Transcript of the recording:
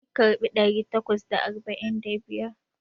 Mu karɓi ɗari takwas da arba'in da biyar.